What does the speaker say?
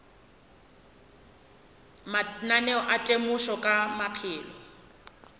mananeo a temošo ka maphelo